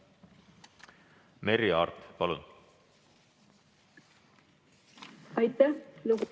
Merry Aart, palun!